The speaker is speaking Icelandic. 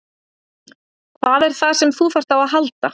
Hvað er það sem þú þarft á að halda?